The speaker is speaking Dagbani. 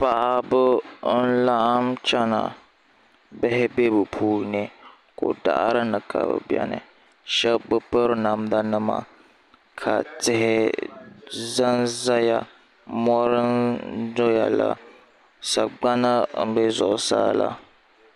Paɣaba n laɣim chena bihi be bɛ puuni ko'daɣarini ka bɛ beni sheba bi piri namda nima ka tihi zanzaya mori n doyala sagbana n be zuɣusaa la.